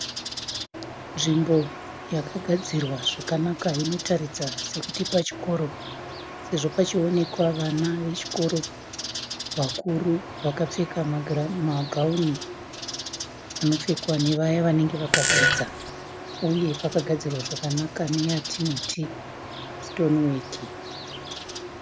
Nzvimbo yakagadzirwa zvakanaka inotaridza sekuti pachikoro sezvo pachiwonekwa vana vechikoro vakuru vakapfeka magawuni anopfekwa nevaya vanenge vakadzidza uye pakagadzirwa zvakanaka neyatinoti sitoniweki.